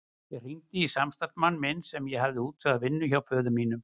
Ég hringdi í samstarfsmann minn sem ég hafði útvegað vinnu hjá föður mínum.